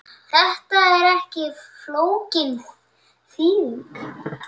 Þetta er ekki flókin þýðing.